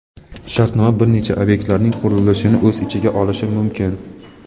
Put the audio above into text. shartnoma bir necha obyektlarning qurilishini o‘z ichiga olishi mumkin.